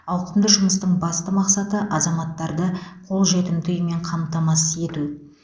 ауқымды жұмыстың басты мақсаты азаматтарды қолжетімді үймен қамтамасыз ету